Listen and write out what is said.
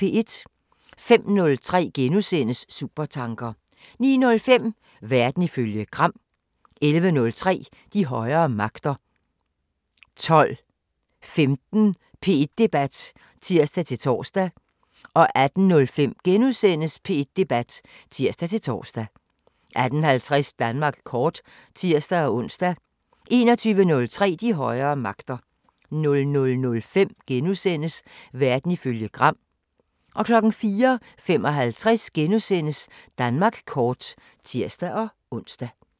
05:03: Supertanker * 09:05: Verden ifølge Gram 11:03: De højere magter 12:15: P1 Debat (tir-tor) 18:05: P1 Debat *(tir-tor) 18:50: Danmark kort (tir-ons) 21:03: De højere magter 00:05: Verden ifølge Gram * 04:55: Danmark kort *(tir-ons)